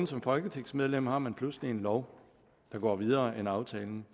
som folketingsmedlem ikke vågen har man pludselig en lov der går videre end aftalen